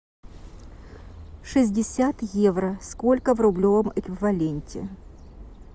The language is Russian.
шестьдесят евро сколько в рублевом эквиваленте